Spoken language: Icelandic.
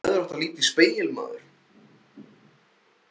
Þú hefðir átt að líta í spegil, maður!